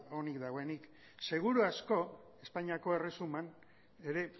onik dagoen seguru asko espainiako erresuman ere